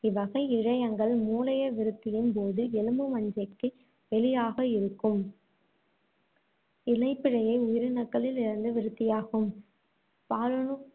இவ்வகை இழையங்கள், மூளைய விருத்தியின்போது எலும்பு மஞ்சைக்கு வெளியாக இருக்கும் இணைப்பிழைய உயிரணுக்களில் இருந்து விருத்தியாகும். பாலணு